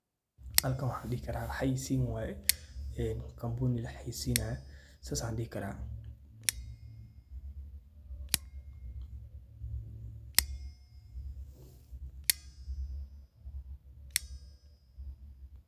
Halkani waxaa dehi karah, xayesini waye ee company laxayesinayo sas Aya dehi karah .